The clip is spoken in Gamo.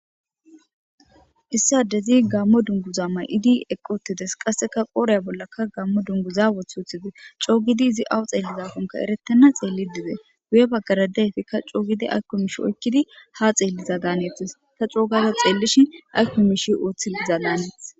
Issi addezi Gaammo dunguza mayidi eqqi uttides qasseka qoodhe bollaka Gaammo dunguza woththi coo giidi izi awa xeelizakon erettenna xeellidi dees guye baggara de'iyaysika coo gidi aykko miishsheti oykkidi ha xeelliyadanees ta coo gaada xeellishin ayko miishshe oothiidi dizadanes.